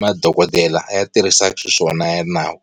madokodela ya tirhisaka xiswona ya nawu.